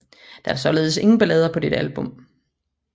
Der er således ingen ballader på dette album